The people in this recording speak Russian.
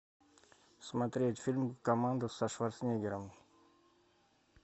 смотреть фильм коммандос со шварценеггером